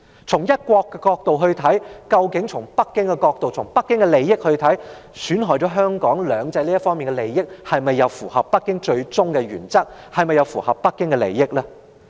從"一國"的角度來看或從北京的利益和角度來看，損害"兩制"的利益，是否符合北京的原則和利益呢？